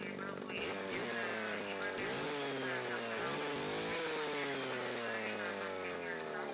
நீங்க சொல்லுவீங்களா details லாம்?